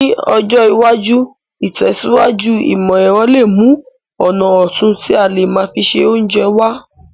Ní ọjọ́ iwájú, ìtẹ̀síwájú ìmọ̀ èrọ le mu ọ̀nà otun ti a le má fi se ounje wa